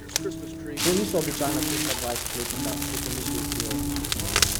To niso običajna čustva dvajsetletnika, je pomislil prior.